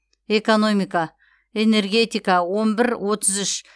экономика энергетика он бір отыз үш